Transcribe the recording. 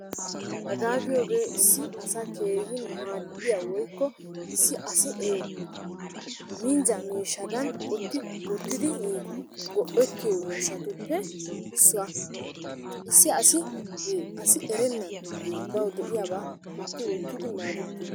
Hagaa giyogee issi asa keehin maaddiya woykko issi asi minjja miishshadan qotti wottidi go'ettiyo miishshatuppe issuwa. Issi asi asi erennan bawu de'iyabaa qotti wottidi maadettiyoba.